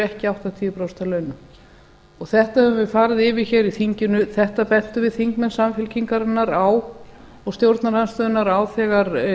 ekki áttatíu prósent af launum þetta höfum við farið yfir hér í þinginu þetta bentum við þingmenn samfylkingarinnar og stjórnarandstöðunnar á þegar